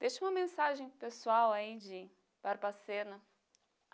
Deixa uma mensagem pessoal, aí de Barbacena.